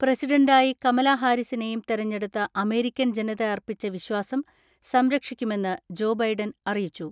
പ്രസിഡന്റായി കമലാഹാരിസിനെയും തെരഞ്ഞെടുത്ത അമേരിക്കൻ ജനത അർപ്പിച്ച വിശ്വാസം സംരക്ഷിക്കുമെന്ന് ജോ ബൈഡൻ അറിയിച്ചു.